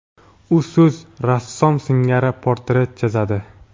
U so‘z rassom singari portret chizadi.